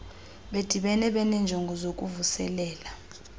bedibene benenjongo zokuvuselela